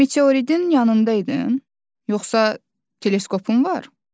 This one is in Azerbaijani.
Meteoridin yanında idin, yoxsa teleskopun var?